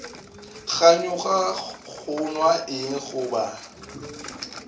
kganyoga go nwa eng goba